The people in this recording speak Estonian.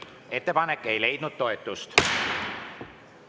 Ettepanek ei leidnud toetust.